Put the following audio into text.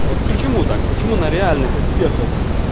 а вот почему так почему на реальных экспертов